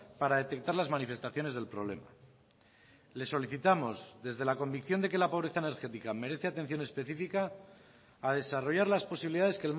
para detectar las manifestaciones del problema le solicitamos desde la convicción de que la pobreza energética merece atención específica a desarrollar las posibilidades